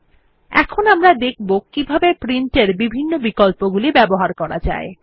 আমরা এখন দেখব কিভাবে প্রিন্ট এর বিভিন্ন বিকল্পগুলি ব্যবহার করা যায়